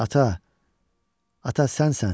Ata, ata sənsən?